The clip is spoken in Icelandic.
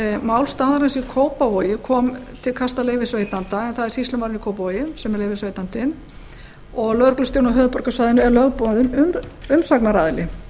mál staðarins í kópavogi kom fyrst til kasta leyfisveitanda en það er sýslumaðurinn í kópavogi sem er leyfisveitandi og lögreglustjórinn á höfuðborgarsvæðinu er lögboðinn umsagnaraðili